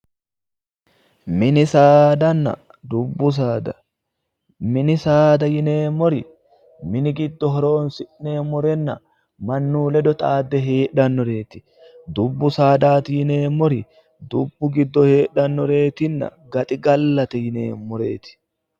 Mini saadanna dubbu saada mini saada yineemmori mini giddo horoonsi'neemmorenna mannu ledo xaadde heedhannoreeti dubbu saadaati yineemmori dubbu giddo heedhannoreetinna gaxigallate yineemmoreeti